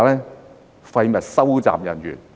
是廢物收集人員。